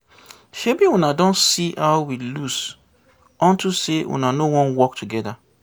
Shebi una don see how we lose unto say una no wan work together